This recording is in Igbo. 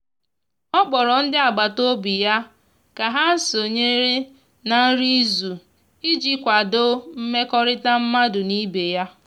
ọ kpọrọ ndi agbata obi ya ka ha sonyere na nri izu iji kwado mmekorita madu n'ibe ya